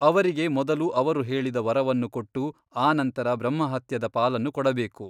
ಅವರಿಗೆ ಮೊದಲು ಅವರು ಕೇಳಿದ ವರವನ್ನು ಕೊಟ್ಟು ಆ ನಂತರ ಬ್ರಹ್ಮ ಹತ್ಯದ ಪಾಲನ್ನು ಕೊಡಬೇಕು.